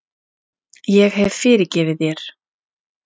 Ég hef fyrirgefið þér.